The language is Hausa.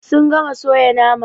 Sun gama soya nama.